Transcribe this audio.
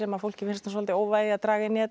fólki finnst svolítið óvægið að draga inn í þetta